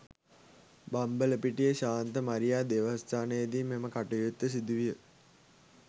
බම්බලපිටිය ශාන්ත මරියා දේවස්ථානයේදී මෙම කටයුත්ත සිදු විය